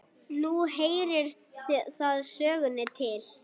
Nú heyrir það sögunni til.